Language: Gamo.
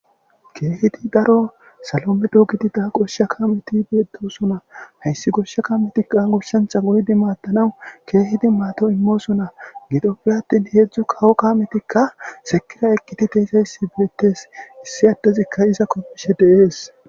Keehidi daro salo medho gidida goshsha kaameti beetosona; hayssi goshsha kaametika goshshancha goyidi maadanaw keehidi maado immosona gidoppe atin hedzdzu kawo kaametika sekira eqqidi de'izayssi beetees; issi addezikka iza kapishe de'es.